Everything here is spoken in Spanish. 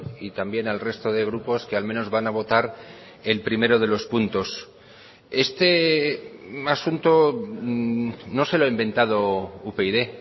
y también al resto de grupos que al menos van a votar el primero de los puntos este asunto no se lo ha inventado upyd